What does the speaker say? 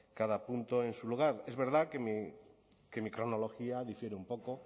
cada punto en su lugar es verdad que mi cronología difiere un poco